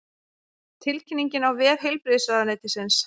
Tilkynningin á vef heilbrigðisráðuneytisins